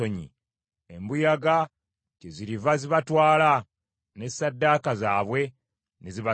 Embuyaga kyeziriva zibatwala, ne ssaddaaka zaabwe ne zibaswaza.”